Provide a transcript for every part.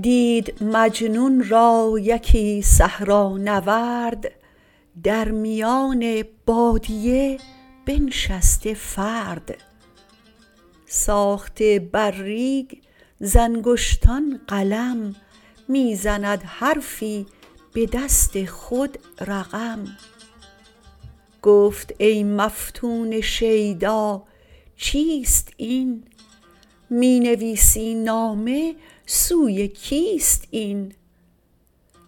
دید مجنون را یکی صحرانورد در میان بادیه بنشسته فرد ساخته بر ریگ ز انگشتان قلم می زند حرفی به دست خود رقم گفت ای مفتون شیدا چیست این می نویسی نامه سوی کیست این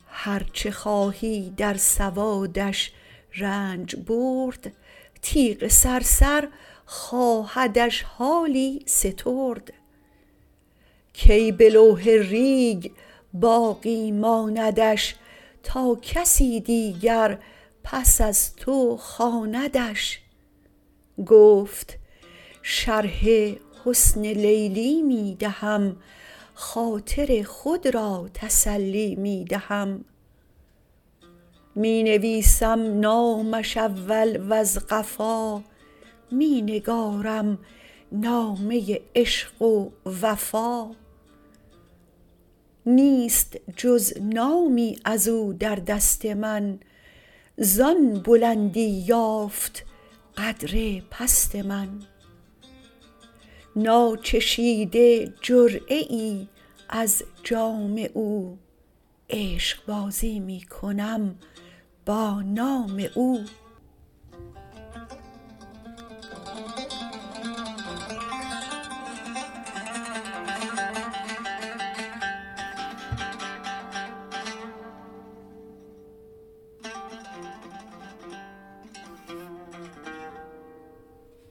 هر چه خواهی در سوادش رنج برد تیغ صرصر خواهدش حالی سترد کی به لوح ریگ باقی ماندش تا کسی دیگر پس از تو خواندش گفت شرح حسن لیلی می دهم خاطر خود را تسلی می دهم می نویسم نامش اول وز قفا می نگارم نامه عشق و وفا نیست جز نامی ازو در دست من زان بلندی یافت قدر پست من ناچشیده جرعه ای از جام او عشق بازی می کنم با نام او